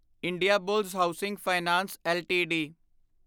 Indiabulls housing finance LTD